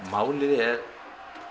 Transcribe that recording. málið er